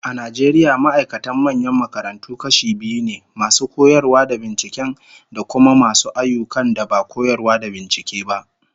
A Najeriya ma'aikatan manyan makarantu kashi biyu ne, masu koyarwa da binciken, da kuma masu ayyukan da ba koyarwa da bincike ba